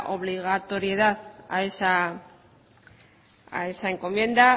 obligatoriedad a esa encomienda